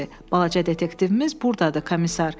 Balaca detektivimiz burdadır, komisar.